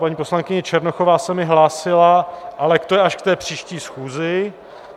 Paní poslankyně Černochová se mi hlásila, ale to je až k té příští schůzi.